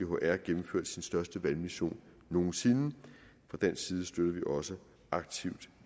odihr gennemførte sin største valgmission nogen sinde fra dansk side støtter vi også aktivt